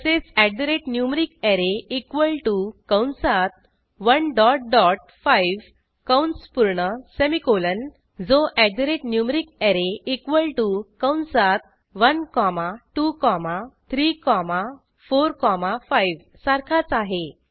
तसेच numericArray equal to कंसात 1 dot dot 5 कंस पूर्ण सेमिकोलॉन जो numericArray इक्वॉल टीओ कंसात 1 कॉमा 2 कॉमा 3 कॉमा 4 कॉमा 5 सारखाच आहे